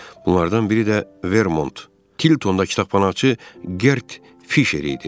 Bunlardan biri də Vermont Tiltonda kitabxanaçı Gert Fişer idi.